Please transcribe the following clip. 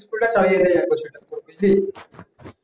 school তা চালিয়ে দেয় একবছর এইরকম বুজলি